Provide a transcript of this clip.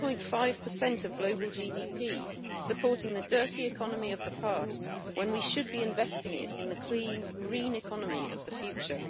6.5 of global GDP supporting the dirty economy of the past when we should be investing it in the clean, green economy of the future.